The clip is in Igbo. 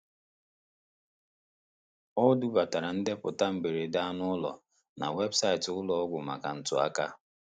Ọ dubatara ndeputa mberede anụ ụlọ na webụsaịtị ụlọ ọgwụ maka ntụaka.